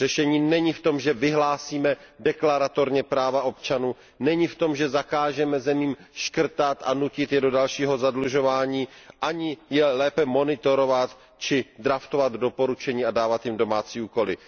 Řešení není v tom, že vyhlásíme deklaratorně práva občanů, není v tom, že zakážeme zemím škrtat a nutit je do dalšího zadlužování, ani je lépe monitorovat či draftovat doporučení a dávat jim domácí úkoly.